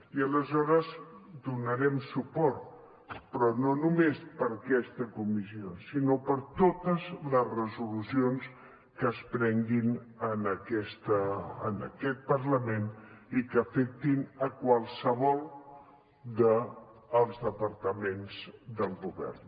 i aleshores hi donarem suport però no només per aquesta resolució sinó per totes les resolucions que es prenguin en aquest parlament i que afectin qualsevol dels departaments del govern